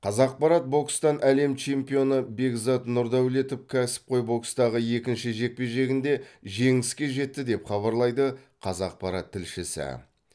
қазақпарат бокстан әлем чемпионы бекзат нұрдәулетов кәсіпқой бокстағы екінші жекпе жегінде жеңіске жетті деп хабарлайды қазақпарат тілшісі